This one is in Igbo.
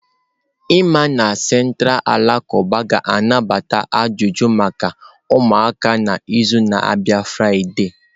Imam na Central alakụba ga-anabata ajụjụ maka ụmụaka n'izu na-abịa Friday.